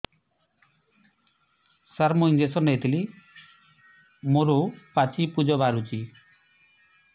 ସାର ମୁଁ ଇଂଜେକସନ ନେଇଥିଲି ମୋରୋ ପାଚି ପୂଜ ବାହାରୁଚି